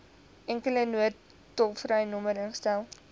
enkele noodtolvrynommer ingestel